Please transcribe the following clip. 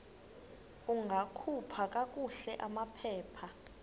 ungakhupha kakuhle amaphepha